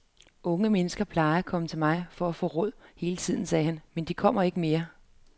Unge mennesker plejede at komme til mig for at få råd hele tiden, sagde han, men de kommer ikke mere.